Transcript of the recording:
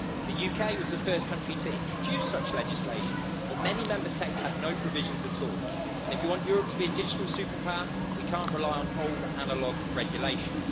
The UK was the first country to introduce such legislation, but many Member States had no provisions at all, and if you want Europe to be a digital superpower, we can't rely on old analogue regulations.